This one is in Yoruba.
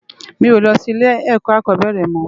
Mi ó lò si ilé èkò ákòbèrè mò